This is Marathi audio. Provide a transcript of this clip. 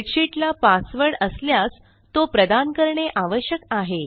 स्प्रेडशीट ला पासवर्ड असल्यास तो प्रदान करणे आवश्यक आहे